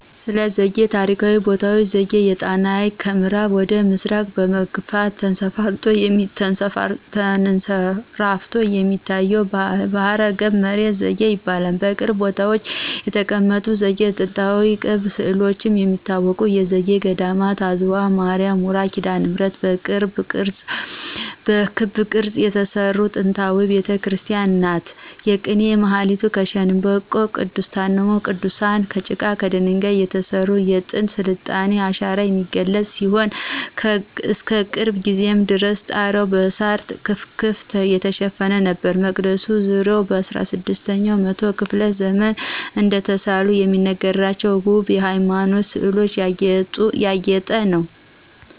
ስለዘጌ ታሪካዊ ቦታዎች ዘጌ የጣናን ሀይቅ ከምአራብ ወደ ምስራቅ በመግፋት ተንሰራፍቶ የሚታየው ባህረገብ መሬት ዘጌ ይባላል። በቅርብ ቦታዎች የተቀመጠ ዘጌ በጥንታዊ ቅብ ስእሎች ከሚታወቁት የዘጌ ገዴማት አዝዋ ማርያ ውራ ኪዳነምህረት በክብ ቅርጽ የተሰራች ጥንታዊ ቤተክርስቲያን ናት። የቅኔ ማህሌቱ ከሸንበቆ :ቅድስቱና መቅደሱ ከጭቃና ከደንጋይ የተሰሩ የጥንት የስልጣኔን አሻራ የሚገልጹ ሲሆን እስከቅርብ ጊዜ ድረስ ጣሪያዉ በሳር ክፍክፍ የተሸፈነ ነበር። የመቅደሱ ዙሪያ በ16 ኛው መቶ ክፍለ ዘመን እደተሳሉ የሚነገርላቸው ወብ የሃይማኖት ስእሎች ያጌጠ ነው።